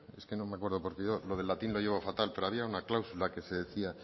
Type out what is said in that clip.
es que no me acuerdo lo del latín lo llevo fatal pero había una cláusula que se decía